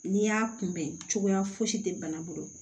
N'i y'a kunbɛn cogoya si tɛ bana bolo